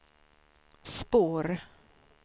spår